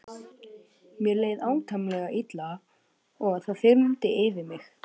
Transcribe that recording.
Mér leið átakanlega illa og það þyrmdi yfir mig.